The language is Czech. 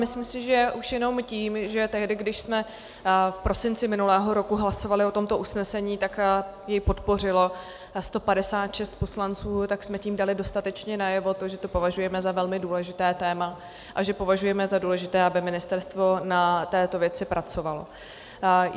Myslím si, že už jenom tím, že tehdy, když jsme v prosinci minulého roku hlasovali o tomto usnesení, tak jej podpořilo 156 poslanců, tak jsme tím dali dostatečně najevo to, že to považujeme za velmi důležité téma a že považujeme za důležité, aby ministerstvo na této věci pracovalo.